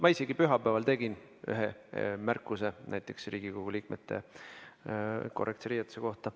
Ma isegi pühapäeval tegin ühe märkuse, see oli Riigikogu liikmete korrektse riietuse kohta.